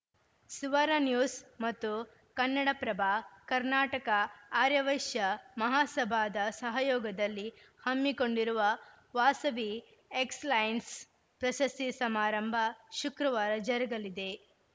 Suvarna news ಮತ್ತು ಕನ್ನಡಪ್ರಭ ಕರ್ನಾಟಕ ಆರ್ಯ ವೈಶ್ಯ ಮಹಾಸಭಾದ ಸಹಯೋಗದಲ್ಲಿ ಹಮ್ಮಿಕೊಂಡಿರುವ ವಾಸವಿ ಎಕ್ಸಲೆನ್ಸ್‌ ಪ್ರಶಸ್ತಿ ಸಮಾರಂಭ ಶುಕ್ರವಾರ ಜರಗಲಿದೆ